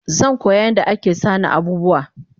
Zankoya yadda ake sana abubuwa